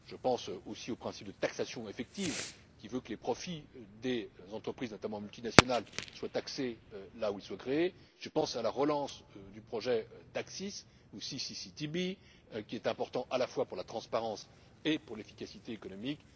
Je pense aussi au principe de taxation effective qui veut que les profits des entreprises, notamment multinationales, soient taxés là où ils sont créés, je pense à la relance du projet d'ACCIS CCTB qui est important à la fois pour la transparence et pour l'efficacité économique.